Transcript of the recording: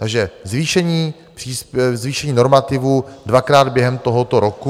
Takže zvýšení normativů dvakrát během tohoto roku.